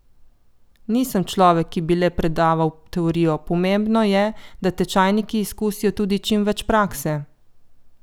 Nisem človek, ki bi le predaval teorijo, pomembno je, da tečajniki izkusijo tudi čim več prakse.